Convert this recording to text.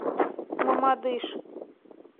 мамадыш